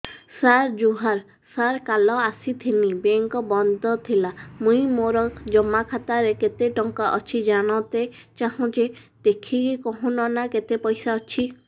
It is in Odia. ସାର ଜୁହାର ସାର କାଲ ଆସିଥିନି ବେଙ୍କ ବନ୍ଦ ଥିଲା ମୁଇଁ ମୋର ଜମା ଖାତାରେ କେତେ ଟଙ୍କା ଅଛି ଜାଣତେ ଚାହୁଁଛେ ଦେଖିକି କହୁନ ନା କେତ ପଇସା ଅଛି